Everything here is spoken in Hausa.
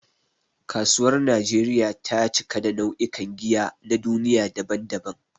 Kasuwar Najeriya ta cika da nau'ikan giya na duniya daban-daban.